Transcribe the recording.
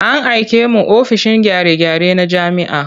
An aike mu ofishin gyare-gyare na jami'a.